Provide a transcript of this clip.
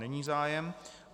Není zájem.